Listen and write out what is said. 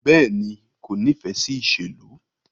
Bẹẹni, ko nifẹ si iṣelu